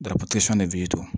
de do